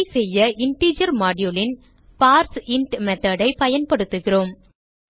இதை செய்ய integer module ன் பார்சின்ட் மெத்தோட் ஐ பயன்படுத்துகிறோம்